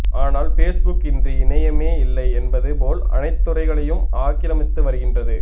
ஆனால் பேஸ்புக் இன்றி இணையமே இல்லை என்பது போல் அனைத்து துறைகளையும் ஆக்கிரமித்து வருகின்றது